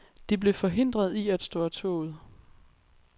De blev forhindret i at stå af toget.